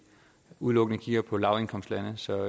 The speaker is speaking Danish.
udelukkende kigger på lavindkomstlande så